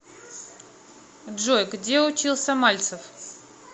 джой где учился мальцев